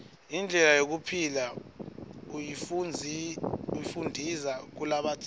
indlela yekuphila uyifundiza kulabadzala